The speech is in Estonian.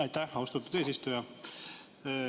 Aitäh, austatud eesistuja!